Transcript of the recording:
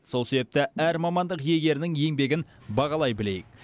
сол себепті әр мамандық иегерінің еңбегін бағалай білейік